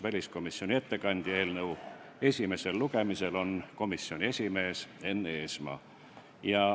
Väliskomisjoni ettekandja eelnõu esimesel lugemisel on komisjoni esimees Enn Eesmaa.